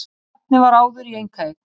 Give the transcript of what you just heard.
Safnið var áður í einkaeign